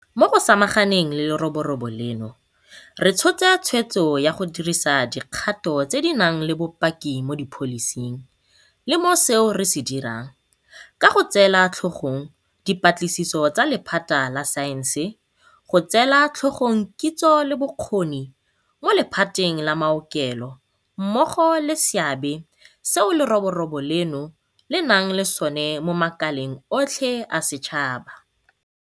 Mo go samaganeng le leroborobo leno re tshotse tshweetso ya go dirisa dikgato tse di nang le bopaki mo dipholising le mo seo re se dirang, ka go tseela tlhogong dipatlisiso tsa lephata la saense, go tseela tlhogong kitso le bokgoni mo le phateng la maokelo mmogo le seabe seo leroborobo leno le nnang le sona mo makaleng otlhe a setšhaba.